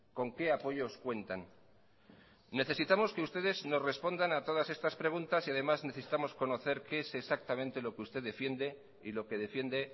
con qué apoyos cuentan necesitamos que ustedes nos respondan a todas estas preguntas y además necesitamos conocer qué es exactamente lo que usted defiende y lo que defiende